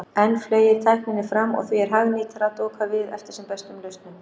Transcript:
Enn fleygir tækninni fram og því er hagnýtara að doka við eftir sem bestum lausnum.